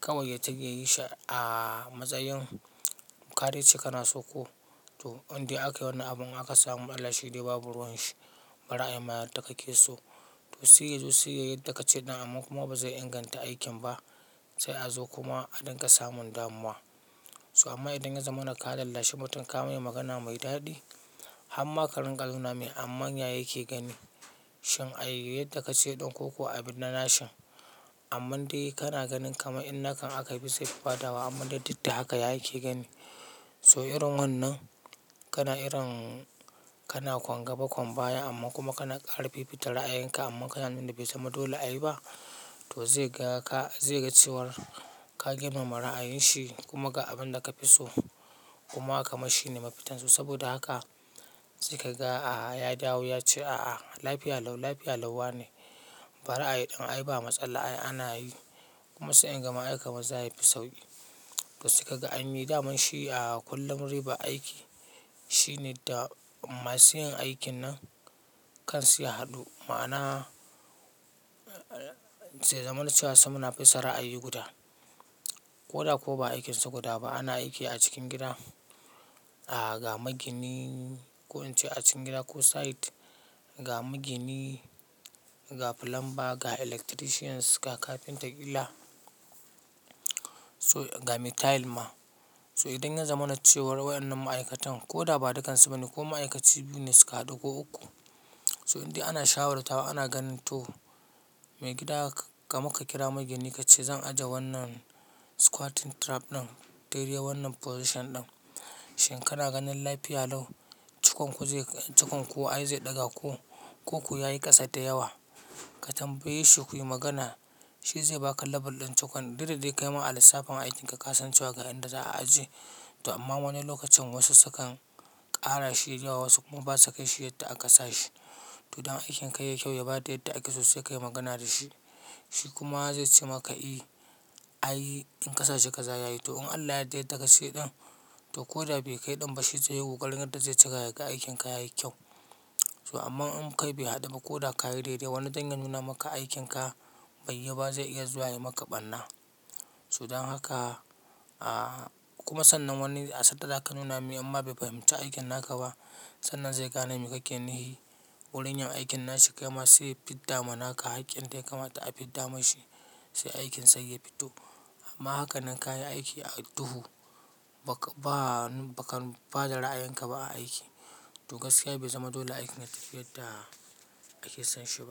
Kawai ya dinga yin shi a matsayin kade ce kana so ko. To in dai akwai wani abun aka samu matsala shi dai babu ruwan shi. Bari ai ma yadda ka ke so to sai ya zo sai yadda ka ce ɗin amma kuma ba zai inganta aikin ba sai a zo kuma a ɗinka samun damuwa. So amma idan ya zamana ka ka lallashi mutum ka mai magana mai daɗi. Har ma ka ringa nuna mai amma yaya yake gani. Shin a yi yadda ka ce ɗin ko kuwa a bi na nashin. Amma dai kana ganin kamar in naka aka yi bisa fito ba da wa amma da dik da haka yake gani. So irin wannan kana irin kana ƙwan gaba ƙwan baya amma kuma kana ƙara fifita ra'ayenka amma kana jima bai zama dole a yi ba to zai ga ka, zai ga cewar ka girmama ra'ayin shi kuma ga abin da ka fi so kuma kamashi ne mafitansu. Saboda haka sai ka ga ya dawo ya ce, "A'a, lafiya lau, lafiya lau wane." Bari ayi ɗin ai ba matsala ana yi. Kuma sai in ga ma ai kamar zaya fi sauƙi. To sai ka ga an yi daman shi a kullum ribar aiki. Shi ne da masu yin aikin nan kan su ya haɗu ma'ana zai zamana cewa samun fita ra'ayi guda. Ko da ko ba aikinsa guda ba ana aiki a cikin gida. Ga magini ko in ce a cikin gida ko site, ga magini, ga plumber, ga electricians, ga carpenter kila, so ga tile man. So idan ya zama na cewa waɗannan ma'aikatan ko da ba dukansu bane ko ma'aikaci biyu ne su ka haɗu ko uku. So in dai ana shawartawa ana ganin to mai gida ga maka kira magini ka ce zan ajiye wannan squatting trap ɗin, daidai wannan position ɗin. Shin kana ganin lafiya lau? Cukon ku zai cukon ku ai zai ɗaga ko, ko kuwa yayi ƙasa da yawa. Ka tambaye shi ku yi magana. Shi zai baka label ɗin cukon daidai da ya kai ma a lissafin aikinka ka san cewa ga inda za a aje. To amma wani lokacin wasu sukan ƙara shi da yawa wasu kuma ba su kai shi yadda an ƙasa shi. To don aikin ka ya yi kyau ya bada yadda ake so sai ka yi magana da shi. Shi kuma zai ce maka, "i, a yi in ƙasa shi ka za ya yi." To in Allah yadda, yadda ka ce ɗin to ko da bai kai ɗan ba shi zai yi ƙokarin yadda zai cika ya ga aikin ka ya yi kyau. So amma in kai bai haɗu ba ko da ka yi daidai wani zai nuna maka aikin ka bai yiwu ba zai iya zuwa ya yi maka ɓarna. So don haka kuma sannan wani ya san da ya ka nuna mai amma bai fahimci aikin naka ba. Sannan zai ga nan me kake nihi. Wurin yin aikin nashi ya kama sai ya fidda ma naka hakkin dai kama ta a fidda mai shi sai aikin sai ya fito. Amma haka nan ka yi aiki a duhu, bakan ba da ra'ayanka ba a aiki. To gaskiya bai zama dole aikin na cika yadda ake son shi.